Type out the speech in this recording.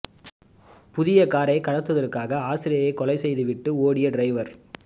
புதிய காரை கடத்துவதற்காக ஆசிரியையை கொலை செய்து விட்டு ஓடிய டிரைவர்